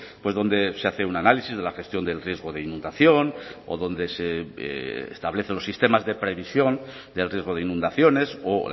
pues donde se hace un análisis de la gestión del riesgo de inundación o donde se establecen los sistemas de previsión del riesgo de inundaciones o